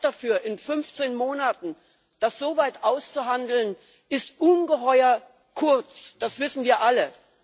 Die Zeit dafür das in 15 Monaten so weit auszuhandeln, ist ungeheuer kurz das wissen wir alle.